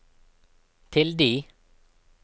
tilde